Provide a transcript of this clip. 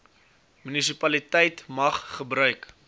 munisipaliteit mag gebruik